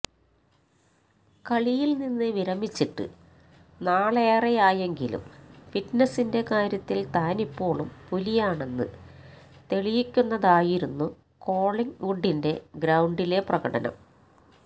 കളിയിൽ നിന്ന് വിരമിച്ചിട്ട് നാളേറെയായെങ്കിലും ഫിറ്റ്നസിന്റെ കാര്യത്തിൽ താനിപ്പോളും പുലിയായെന്ന് തെളിയിക്കുന്നതായിരുന്നു കോളിംഗ് വുഡിന്റെ ഗ്രൌണ്ടിലെ പ്രകടനം